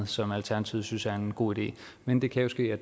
som alternativet synes er en god idé men det kan jo ske at